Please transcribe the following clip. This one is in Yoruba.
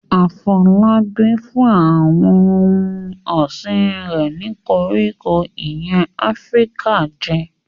Afolabi fún àwọn ohun ọ̀sìn rẹ̀ ní koríko ìyẹ́ Áfíríkà jẹ.